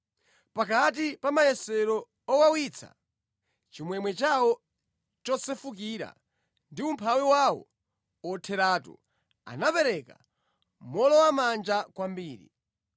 Pakati pa mayesero owawitsa, chimwemwe chawo chosefukira ndi umphawi wawo otheratu, anapereka mowolowamanja kwambiri.